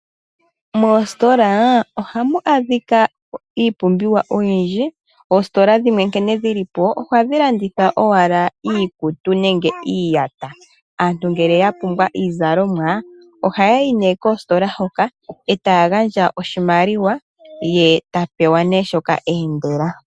Moositola ohamu adhika iipumbiwa oyindji, oositola dhimwe nkene dhilipo ohadhi landitha owala iikutu nenge nenge iiyata. Aantu ngele yapumbwa iizalomwa ohaya yi nee koositola hoka etaya gandja oshimaliwa ye tapewa ne shoka endela.